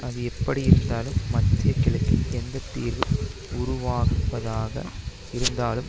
அது எப்படியிருந்தாலும் மத்திய கிழக்கில் எந்த தீர்வு உருவாகுவதாக இருந்தாலும்